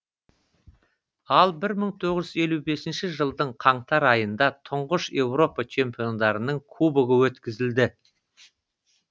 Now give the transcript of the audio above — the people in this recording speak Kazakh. ал бір мың тоғыз жүз елу бесінші жылдың қаңтар айында тұңғыш еуропа чемпиондарының кубогы өткізілді